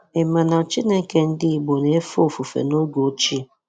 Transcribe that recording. Ị ma na Chineke ndị Igbo na-efe ofufe n’oge ochie?